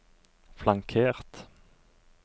flankert